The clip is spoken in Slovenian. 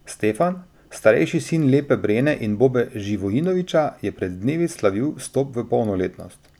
Stefan, starejši sin Lepe Brene in Bobe Živojinovića, je pred dnevi slavil vstop v polnoletnost.